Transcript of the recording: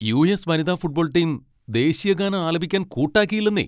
US. വനിതാ football team ദേശീയഗാനം ആലപിക്കാൻ കൂട്ടാക്കിയില്ലന്നേ.